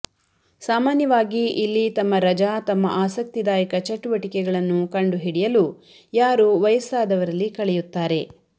ಸಾಮಾನ್ಯವಾಗಿ ಇಲ್ಲಿ ತಮ್ಮ ರಜಾ ತಮ್ಮ ಆಸಕ್ತಿದಾಯಕ ಚಟುವಟಿಕೆಗಳನ್ನು ಕಂಡುಹಿಡಿಯಲು ಯಾರು ವಯಸ್ಸಾದವರಲ್ಲಿ ಕಳೆಯುತ್ತಾರೆ